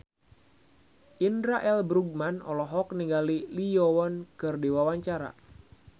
Indra L. Bruggman olohok ningali Lee Yo Won keur diwawancara